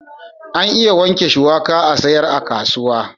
An iya wanke shuwaka a'sayar a kasuwa.